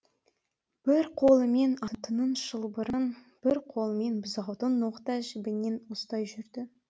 бір қолымен атының шылбырын бір қолымен бұзаудың ноқта жібінен ұстай жүрді